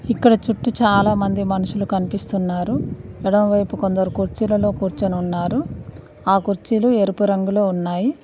ఇక్కడ చుట్టూ చాలామంది మనుషులు కనిపిస్తున్నారు ఎడమవైపు కొందరు కుర్చీలలో కూర్చొని ఉన్నారు ఆ కుర్చీలు ఎరుపు రంగులో ఉన్నాయి.